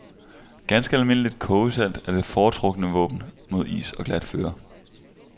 Ganske almindeligt kogesalt er det foretrukne våben mod is og glat føre.